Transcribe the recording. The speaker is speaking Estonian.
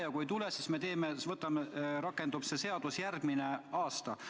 Ja kui ei tule, siis see seadus rakendub ehk järgmisel aastal.